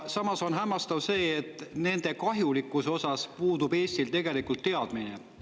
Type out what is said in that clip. Samas on hämmastav see, et nende kahjulikkusest puudub Eestil tegelikult teadmine.